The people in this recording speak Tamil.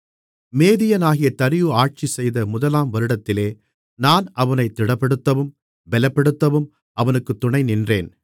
மேதியனாகிய தரியு ஆட்சிசெய்த முதலாம் வருடத்திலே நான் அவனைத் திடப்படுத்தவும் பலப்படுத்தவும் அவனுக்குத் துணை நின்றேன்